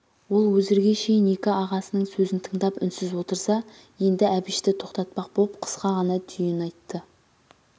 ол өзірге шейін екі ағасының сөзін тыңдап үнсіз отырса енді әбішті тоқтатпақ боп қысқа ғана түйін айтты